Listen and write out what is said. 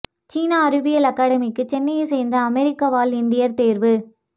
சீனா அறிவியல் அகாடமிக்கு சென்னையை சேர்ந்த அமெரிக்கா வாழ் இந்தியர் தேர்வு